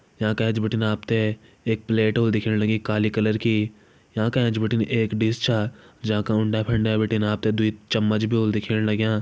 याँका एैंच बटिन आपथे एक प्लेट होल दिखेण लगी काली कलर की याँका एैंच बटिन एक डिश छा जाँका उंडा फंडे बटिन आपथे द्वी चम्मच भी होल दिखेण लग्यां।